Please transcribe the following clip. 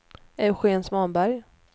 Eugén Svanberg